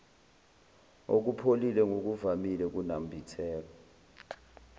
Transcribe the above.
okupholile ngokuvamile kunambitheka